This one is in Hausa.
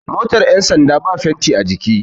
motar yansanda ba fenti a jiki